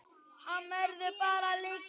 Hann verður bara að liggja.